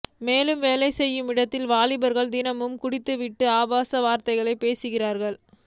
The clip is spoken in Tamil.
மேலும் வேலை செய்யும் இடத்தில் வாலிபர்கள் தினமும் குடித்துவிட்டு ஆபாச வார்த்தைகளால் பேசுகிறார்கள்